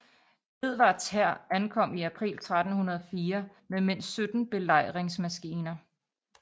Edvards hær ankom i april 1304 med mindst 17 belejringsmaskiner